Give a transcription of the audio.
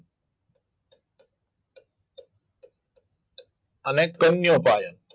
આને કન્યો પાયન